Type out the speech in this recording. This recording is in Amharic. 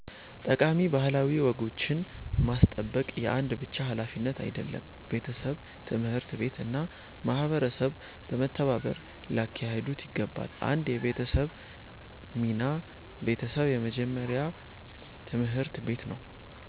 ጠቃሚ ባህላዊ ወጎችን ማስጠበቅ የአንድ ብቻ ሀላፊነት አይደለም፤ ቤተሰብ፣ ትምህርት ቤት እና ማህበረሰብ በመተባበር ሊያካሂዱት ይገባል። 1 የቤተሰብ ሚና ቤተሰብ የመጀመሪያ ትምህርት ቤት ነው።